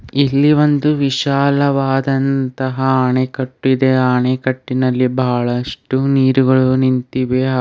ಇಲ್ಲಿ ಒಂದು ವಿಶಾಲವಾದಂತಹ ಅಣೆಕಟ್ ಇದೆ ಅ ಅಣೆಕಟ್ಟಿನಲ್ಲಿ ಬಾಳಷ್ಟು ನೀರುಗಳು ನಿಂತಿವೆ ಹಾಗ್ --